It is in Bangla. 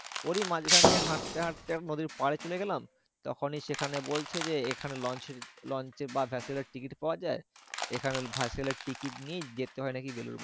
ওরই মাঝখান দিয়ে হাঁটতে হাঁটতে নদীর পারে চলে গেলাম। তখনই সেখানে বলছে যে এখানে launch এর launch এর বা vessel এর টিকিট পাওয়া যায়। এখানে vessel এর টিকিট নিয়ে যেতে হয় নাকি বেলুড় মঠ।